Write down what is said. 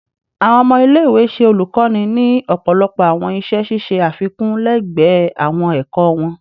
Awọn ọmọ ile-iwe ṣe olukoni ni ọpọlọpọ awọn iṣẹ ṣiṣe afikun lẹgbẹẹ awọn ẹkọ wọn